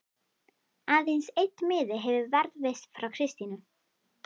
Aðeins einn miði hefur varðveist frá Kristínu